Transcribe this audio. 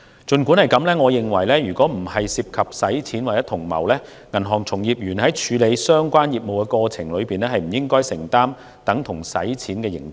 儘管如此，我認為如果不涉及洗錢或同謀，銀行從業員在處理相關業務的過程中，不應承擔等同洗錢的刑責。